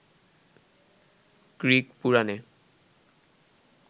Greek পুরাণে